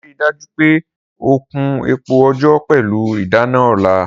Rii daju pe o Kun epo ojò pẹlu idana ọla!